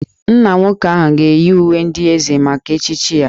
Nna nwoke ahụ ga-eyi uwe ndị Eze maka echichi ya